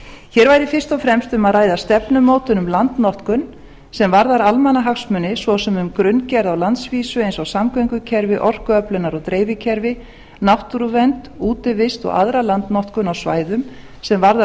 hér væri fyrst og fremst um að ræða stefnumótun um landnotkun sem varðar almannahagsmuni svo sem um grunngerð á landsvísu sem varðar samgöngukerfi orkuöflunar og dreifikerfi náttúruvernd útivist og aðra landnotkun á svæðum sem varðar